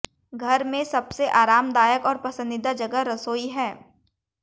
घर में सबसे आरामदायक और पसंदीदा जगह रसोई है